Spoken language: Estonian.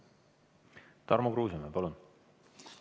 Tarmo Kruusimäe, palun!